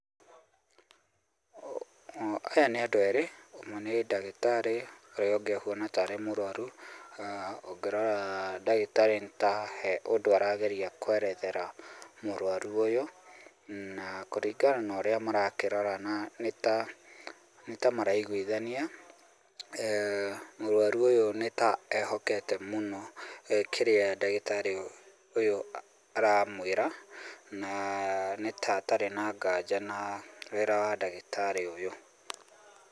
Aya nĩ andũ erĩ, ũmwe nĩ ndagĩtarĩ, ũyũ ũngĩ ũhuana ta arĩ mũrwaru. Ũngĩrora ndagĩtarĩ nĩ ta he ũndũ arageria kũerethera mũrwaru ũyũ, na kũringana na ũrĩa marakĩrorana nĩ ta, nĩ ta maraiguithania, mũrwaru ũyũ nĩ ta ehokete mũno kĩrĩa ndagĩtarĩ ũyũ aramwĩra, na nĩ ta atarĩ na nganja na wĩra wa ndagĩtarĩ ũyũ.